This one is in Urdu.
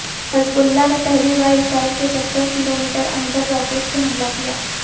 حزب اللہ نے پہلی باراسرائیل کے ستر کلو میٹر اندر راکٹ سے حملہ کیا